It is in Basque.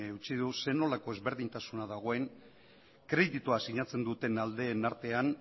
utzi du zer nolako desberdintasuna dagoen kreditua sinatzen duten aldeen artean